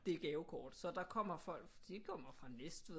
Det gavekort så der kommer folk de kommer fra Næstved